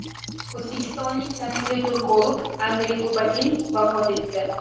O‘zbekistonlik taniqli turkolog Andrey Kubatin vafot etdi.